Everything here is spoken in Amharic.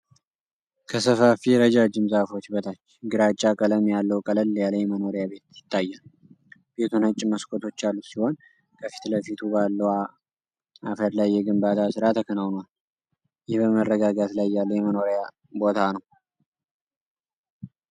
ከሰፋፊ ረጃጅም ዛፎች በታች፣ ግራጫ ቀለም ያለው ቀለል ያለ የመኖሪያ ቤት ይታያል። ቤቱ ነጭ መስኮቶች ያሉት ሲሆን፣ ከፊት ለፊቱ ባለው አፈር ላይ የግንባታ ስራ ተከናውኗል፤ ይህ በመረጋጋት ላይ ያለ የመኖሪያ ቦታ ነው።